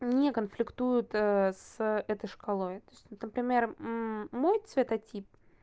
не конфликтует с этой шкалой то есть вот например мой цвета тип